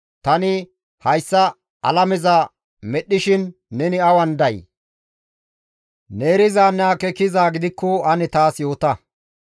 Tani hayssa alameza medhdhishin neni awan day? Ne erizanne akeekizaa gidikko ane taas yoota.